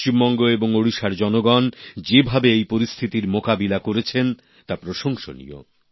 পশ্চিমবঙ্গ এবং ওড়িশার জনগণ যেভাবে এই পরিস্থিতির মোকাবিলা করেছেন তা প্রশংসনীয়